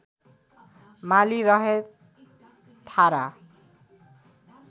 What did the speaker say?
माली रहे थारा